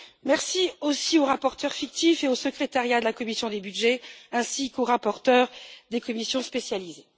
Merci aussi aux rapporteurs fictifs et au secrétariat de la commission des budgets, ainsi qu'aux rapporteurs des commissions spécialisées.